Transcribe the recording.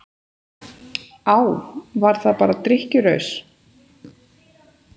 Á, var það bara drykkjuraus?